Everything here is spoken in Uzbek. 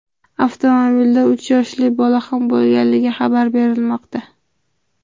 Avtomobilda uch yoshli bola ham bo‘lganligi xabar berilmoqda.